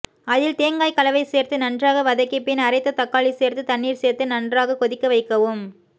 அதில் தேங்காய் கலவை சேர்த்து நன்றாக வதக்கி பின் அரைத்த தக்காளி சேர்த்து தண்ணீர் சேர்த்து நன்றாக கொதிக்கவைக்கவும்